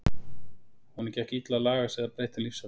Honum gekk illa að laga sig að breyttum lífsháttum og